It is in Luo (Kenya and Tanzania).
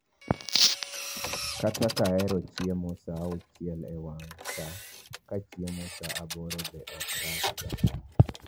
Kata kahero chiemo saa auchiel e wang' saa, kachiemo sa aboro be ok rach ga